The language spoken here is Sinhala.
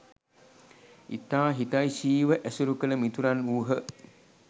ඉතා හිතෛශීව ඇසුරු කළ මිතුරන් වූහ.